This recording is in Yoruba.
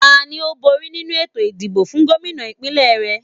Tani ó bóri nínu ètò ìdìbò fún Gómìnà ìpínlẹ̀ re?